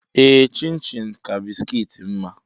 Ee chin-chin ka bisikiiti mma.